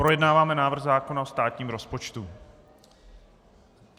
Projednáváme návrh zákona o státním rozpočtu.